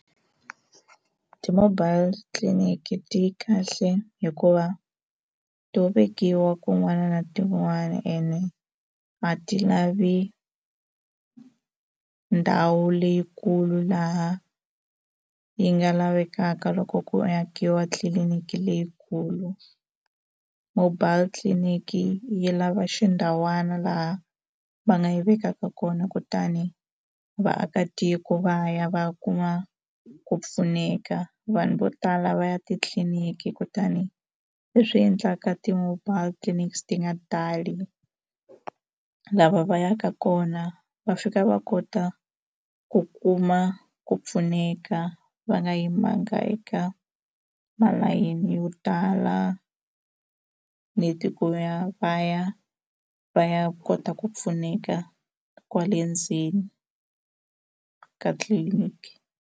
Ti-mobile clinic ti yi kahle hikuva to vekiwa kun'wana na tin'wani ene a ti lavi ndhawu leyikulu laha yi nga lavekaka swa ku ku akiwa tliliniki leyikulu mobile clinic yi lava xindhawana laha va nga yi vekaka kona kutani vaakatiko va ya va ya kuma ku pfuneka vanhu vo tala va ya titliniki kutani leswi endlaka ti-mobile clinics ti nga tali lava va yaka kona va fika va kota ku kuma ku pfuneka va nga yimanga eka malayini yo tala nheti ku ya va ya va ya kota ku pfuneka kwale ndzeni ka clinic.